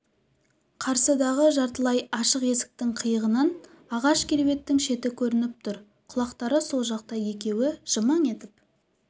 қарсыдағы жартылай ашық есіктің қиығынан ағаш кереуеттің шеті көрініп тұр құлақтары сол жақта екеуі жымың етіп